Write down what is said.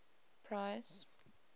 parys